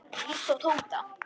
Líttu á Tóta.